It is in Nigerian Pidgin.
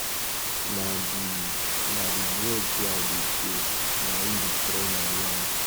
Na the Na the drugs wey I dey take na im destroy my lungs